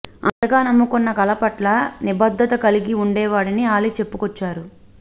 అంతగా నమ్ముకున్న కళ పట్ల నిబద్దత కలిగి ఉండేవాడని అలీ చెప్పుకొచ్చారు